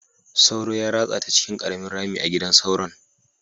Sauro ya ratsa ta cikin ƙaramin rami a gidan sauron.